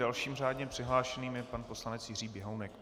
Dalším řádně přihlášeným je pan poslanec Jiří Běhounek.